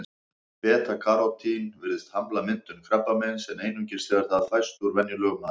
Beta-karótín virðist hamla myndun krabbameins, en einungis þegar það fæst úr venjulegum mat.